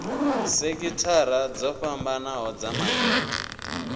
sekithara dzo fhambanho dza makete